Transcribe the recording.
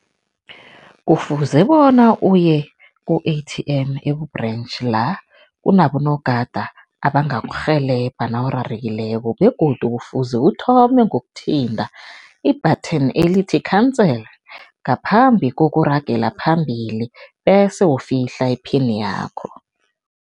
Kufuze bona uye ku-A_T_M eku-branch la kunabo nogada abangakurhelebha nawurarekileko begodu kufuze uthome ngokuthinta i-buttton elithi cancel, ngaphambi kokuragela phambili bese ufihla iphini yakho.